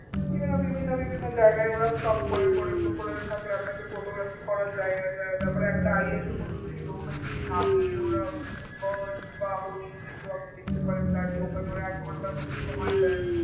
তো বিভিন্ন বিভিন্ন বিভিন্ন জায়গায় ওরা stop করে করে crocodile থাকলে আপনাকে photography করার জায়গা যা তারপর একটা island এর মতো ছিল ওখানে গিয়ে নামিয়ে ওরা মানে birds বা হরিণ যেগুলো আপনি দেখতে পারেন দাঁড়িয়ে ওখানে ওরা এক ঘন্টার মতো সময় দেয়